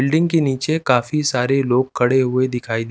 building के नीचे काफ़ी सारे लोग खड़े हुए दिखाई दे--